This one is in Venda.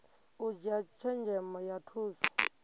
u dzhia tshenzhemo ya thusa